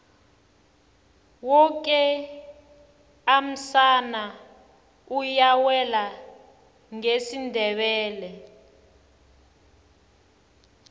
woke umsana uyawela ngesindebele